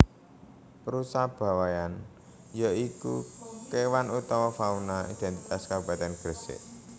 Rusa Bawean ya iku kewan utawa fauna identitas Kabupatèn Gresik